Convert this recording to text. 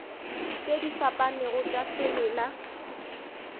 tše di fapanego tša semela